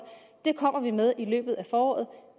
den kommer vi med i løbet af foråret